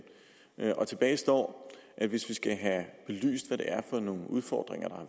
tilbage står at hvis vi skal have belyst hvad det er for nogle udfordringer der